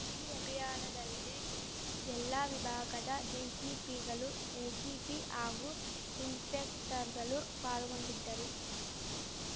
ಈ ಅಭಿಯಾನದಲ್ಲಿ ಎಲ್ಲಾ ವಿಭಾಗದ ಡಿಶಿಪಿಗಳು ಎಶಿಪಿ ಹಾಗೂ ಇನ್ಸ್‌ಪೆಕ್ಟರ್‌ಗಳು ಪಾಲ್ಗೊಂಡಿದ್ದರು